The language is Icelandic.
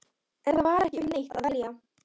En það var ekki um neitt að velja.